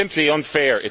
It is simply unfair.